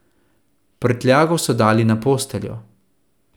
Prtljago so dali na posteljo.